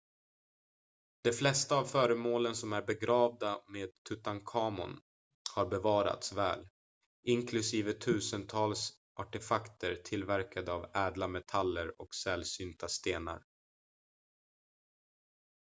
de flesta av föremålen som är begravda med tutankhamon har bevarats väl inklusive tusentals artefakter tillverkade av ädla metaller och sällsynta stenar